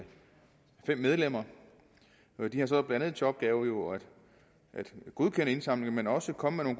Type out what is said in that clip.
fem medlemmer de har så blandt andet til opgave at godkende indsamlinger men også at komme med